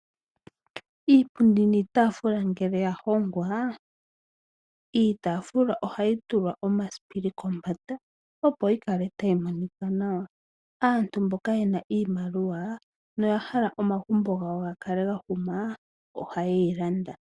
Iipundi niitaafula ngele ya hongwa, iitaafula ohayi tulwa omasipili kombanda, opo yi kale tayi monika nawa. Aantu mboka ye na iimaliwa noya hala omagumbo gawo ga kale ga huma, ohaye yi landa.